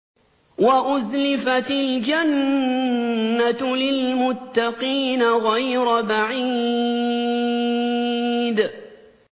وَأُزْلِفَتِ الْجَنَّةُ لِلْمُتَّقِينَ غَيْرَ بَعِيدٍ